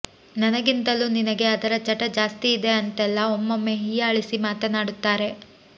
ನನಗಿಂತಲೂ ನಿನಗೆ ಅದರ ಚಟ ಜಾಸ್ತಿ ಇದೆ ಅಂತೆಲ್ಲಾ ಒಮ್ಮೊಮ್ಮೆ ಹೀಯಾಳಿಸಿ ಮಾತನಾಡುತ್ತಾರೆ